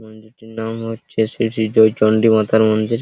মন্দিরটার নাম হচ্ছে শ্রী শ্রী জয় চন্ডি মাতার মন্দির।